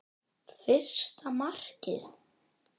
Fyrsta markið?